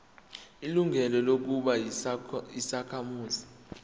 ilungelo lokuba yisakhamuzi